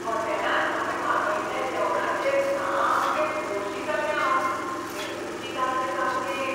हॉटेलांत हांवें मागयल्ल्या जेवणाचेर सामकें खोशी जाल्लें हांव. तें रुचीक आसलें सामकें.